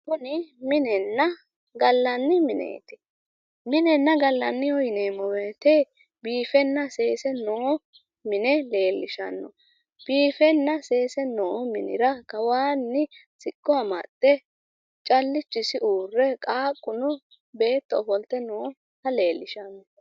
kuni minenna gallani mineeti. minenna galanniho yineemo woyte biifenna seese no mine leellishano. biifenna seese noo minira kawanni siqqo amaxxe callichisi uurre qaaqquno beetto ofolte nooha leellishano.